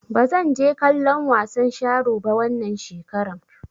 Ba zan je kallon wasan sharo ba wannan shekarar.